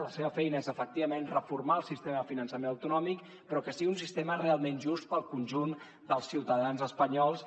la seva feina és efectivament reformar el sistema de finançament autonòmic però perquè sigui un sistema realment just per al conjunt dels ciutadans espanyols